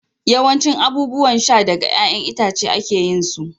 yawancin abubuwan sha daga 'ya'yan itace ake yin su